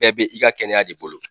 Bɛɛ bɛ i ka kɛnɛya de bolo.